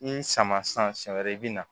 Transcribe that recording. I sama sisan siɲɛ wɛrɛ i bɛ na